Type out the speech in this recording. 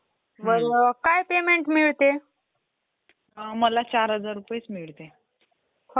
अच्छा अच्छा. हे जे डेस्कटॉप जे असतात, स्क्रीन, त्याचं काय काम असतं?